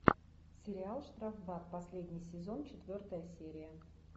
сериал штрафбат последний сезон четвертая серия